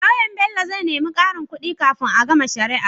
Loyan Bello zai nemi karin kudi kafin a gama shari'ar